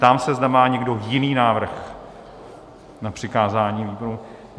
Ptám se, zda má někdo jiný návrh na přikázání výboru.